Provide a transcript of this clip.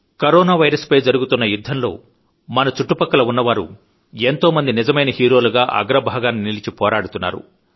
corona virus పై జరుగుతున్న యుద్ధంలో మన చుట్టుపక్కల ఉన్నవారు ఎంతోమంది నిజమైన హీరోలుగా అగ్రభాగాన నిలిచి పోరాడుతున్నారు